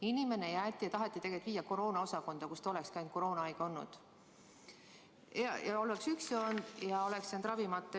Inimene taheti tegelikult viia koroonaosakonda, kus ta olekski ainult koroonahaige olnud, oleks üksi olnud ja oleks jäänud ravimata.